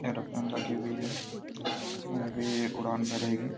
Aeroplane लगी हुई हैंअभी उड़ान भरेंगी।